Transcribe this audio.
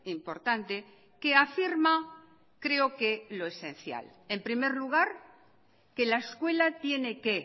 importante que afirma creo que lo esencial en primer lugar que la escuela tiene que